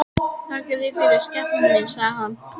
Þakka þér fyrir, skepnan mín, sagði hann.